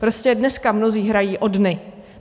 Prostě dneska mnozí hrají o dny.